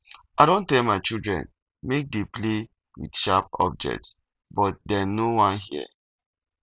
i don tell my children make dey play with sharp object but dey no wan hear